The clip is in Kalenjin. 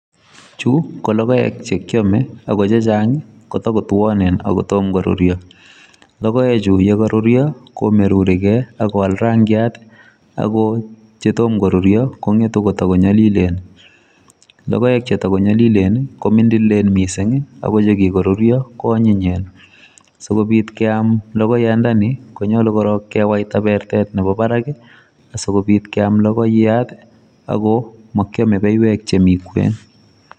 Chu kologoek chekiome akochechang kotakotuanen akotom korurio logoechu kokarurio komeruri kei akowal rangiat akochetomo korurio kongetu kotiko nyalilen lokoek chetiko nyalilen kominmdililen mising akochekikorurio koanyinyen sikobit keam lokoyandani konyalu korok kewaita bertet nebo barak asikobit keam lokoyat ako makiame beiwek chemi kwen.